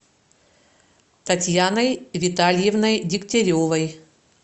татьяной витальевной дегтяревой